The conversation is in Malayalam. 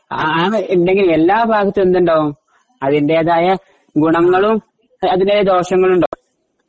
അത് ഉണ്ടെങ്കി എല്ലാഭാഗത്തുനിന്നും എന്തുണ്ടാവും അതിന്റെതായ ഗുണങ്ങളും അതിന്റേതായ ദോഷങ്ങളുമുണ്ടാവും